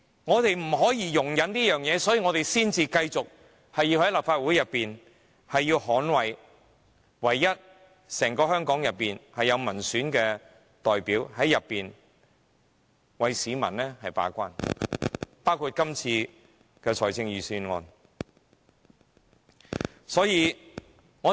我們就是不能容忍這些事，所以我們才要繼續留在立法會內，捍衞這個在香港3個權力機構當中，唯一有民選代表的機構，在議會內為市民把關，包括今次的預算案。